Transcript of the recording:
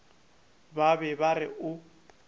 ba be ba re o